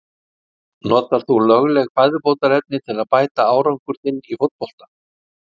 Notar þú lögleg fæðubótarefni til að bæta árangur þinn í fótbolta?